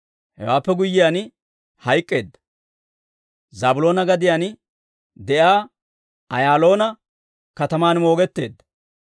Hewaappe guyyiyaan hayk'k'eedda; Zaabiloona gadiyaan de'iyaa Eeloona kataman moogetteedda.